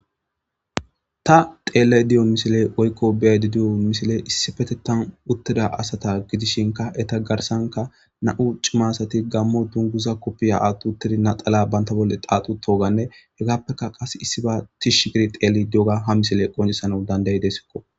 ta xeellay diyo misile oykko biyadidiyo misile issifete tan uttida asata gidishinka eta garsanka na7u cimasati gammo dunguza koppiya attuttidi naxala banta bolle aaxu toganne hegappeka qas issiba tishshi giri xeeli dioga ha misile qoncisana dandayi desikko